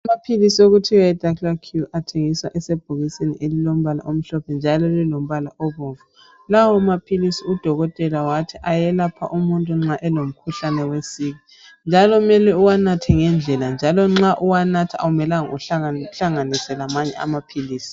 Amaphilisi okuthiwa yidaclacure athengiswa esebhokisini elilombala omhlophe njalo lilombala obomvu. Lawo maphilisi udokutela wathi ayelapha umuntu, nxa elomkhuhlane wesiki, njalo kumele uwanathe ngendlela, njalo nxa uwanatha akumelanga uhlanganise lamanye amaphilisi